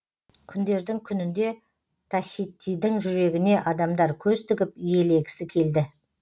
күндердің күнінде тахитидің жүрегіне адамдар көз тігіп иелегісі келді